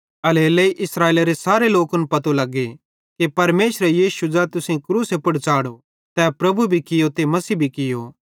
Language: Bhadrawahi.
एल्हेरेलेइ इस्राएलेरे सारे लोकन पतो लग्गे कि परमेशरे यीशु ज़ै तुसेईं क्रूसे पुड़ च़ाढ़ो तै प्रभु भी कियो ते मसीह भी कियो